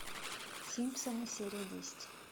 симпсоны серия десять